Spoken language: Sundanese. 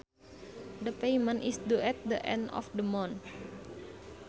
The payment is due at the end of the month